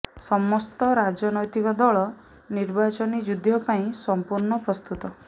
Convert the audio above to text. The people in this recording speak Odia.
ସମସ୍ତ ରାଜନୈତିକ ଦଳ ନିର୍ବାଚନୀ ଯୁଦ୍ଧ ପାଇଁ ସମ୍ପୂର୍ଣ୍ଣ ପ୍ରସ୍ତୁତ